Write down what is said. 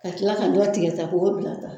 Ka kila ka dɔ tigɛ ta ko bila tan.